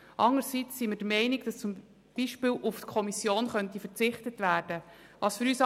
Andererseits sind wir zum Beispiel der Ansicht, dass auf die Kommission verzichtet werden könnte.